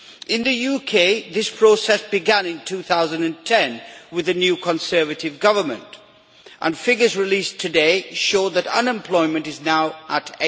In the UK, this process began in 2010 with the new Conservative Government and figures released today show that unemployment is now at